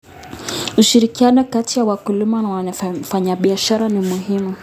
Ushirikiano kati ya wakulima na wafanyabiashara ni muhimu.